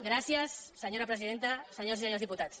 gràcies senyora presidenta senyores i senyors diputats